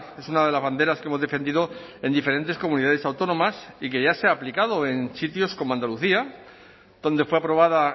es una de las banderas que hemos defendido en diferentes comunidades autónomas y que ya se ha aplicado en sitios como andalucía donde fue aprobada